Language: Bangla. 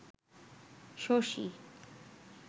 শশী